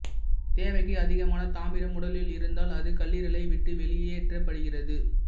தேவைக்கு அதிகமான தாமிரம் உடலில் இருந்தால் அது கல்லீரலை விட்டு வெளியேற்றப்படுகிறது